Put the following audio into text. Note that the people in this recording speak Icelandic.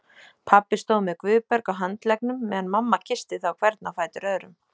Pabbi stóð með Guðberg á handleggnum meðan mamma kyssti þá hvern á fætur öðrum.